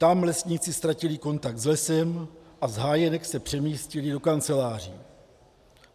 Tam lesníci ztratili kontakt s lesem a z hájenek se přemístili do kanceláří.